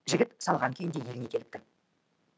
жігіт салған күйінде еліне келіпті